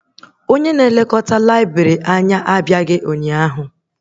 Onye isi laibrị abịaghị ụnyaahụ